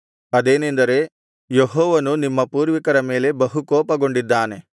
ಅದೇನೆಂದರೆ ಯೆಹೋವನು ನಿಮ್ಮ ಪೂರ್ವಿಕರ ಮೇಲೆ ಬಹು ಕೋಪಗೊಂಡಿದ್ದಾನೆ